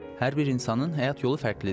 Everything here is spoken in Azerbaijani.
Hər bir insanın həyat yolu fərqlidir.